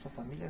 Sua família?